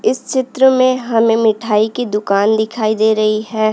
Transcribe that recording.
इस चित्र में हमें मिठाई की दुकान दिखाई दे रही है।